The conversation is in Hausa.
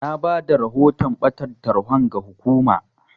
Na bada rahoton ɓatan tarhon ga hukumar.